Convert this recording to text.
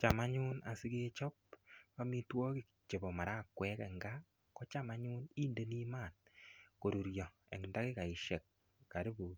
Cham anyun asikechop amitwogik chebo marakwekeng kaa kocham anyun indeni maat korurio eng takikaisiek karibu